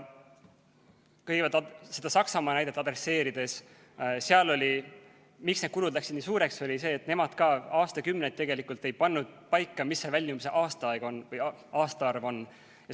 Kõigepealt, selle Saksamaa näite kohta ütlen, et põhjus, miks need kulud läksid nii suureks, oli see, et nemad ka aastakümneid tegelikult ei pannud paika, mis see väljumise aastaarv on.